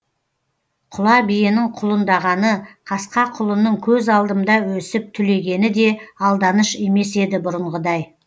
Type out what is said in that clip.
құла биенің құлындағаны қасқа құлынның көз алдымда өсіп түлегені де алданыш емес еді бұрынғыдай